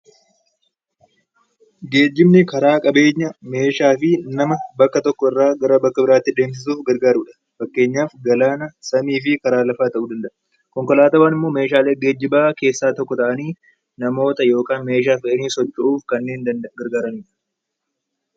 Geejjibni karaa qabeenya, meeshaa fi nama bakka tokko irraa gara bakka biraatti deemsisuuf gargaaru dha. Fakkeenyaaf galaana, samii fi karaa lafaa ta'uu danda'a. Konkolaataawwan ammoo meeshaalee geejjibaa keessaa tokko ta'anii namoota yookaan meeshaa fe'anii socho'uuf kanneen gargaarani dha.